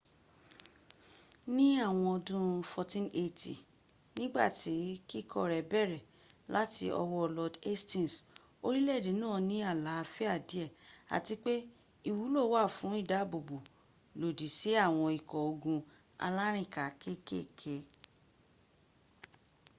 ní àwọn ọdún 1480 nígbàtí kíkọ́ rẹ bẹ̀rẹ̀ láti ọwọ́ lord hastings orílè-èdè náà ní àlàáfíà díè àti pe ìwúlò wà fún ìdábòbò lòdì sí àwọn ikọ́ ogun alárìnká kékèké